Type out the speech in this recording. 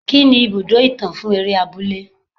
Kí ni ibùdó ìtàn fún eré abúlé.